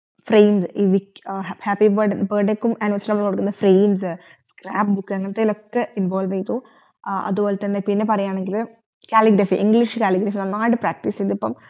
phrase ഈ happy birthday ക്കും anniversery നമ്മൾ കൊടികുന്ന phrase scrab book അങ്ങത്തയിലൊക്കെ ൻ involve യ്തു അതുപോലെതന്നെ പിന്നെ പറയാണെങ്കിൽ calligraphy english calligraphy നന്നായിട്ടു practice യ്തു ഇപ്പം